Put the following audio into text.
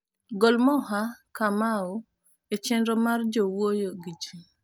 gol moha kamau e chenro mar jowuoyo gi ji